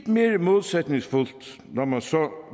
mere modsætningsfyldt når man så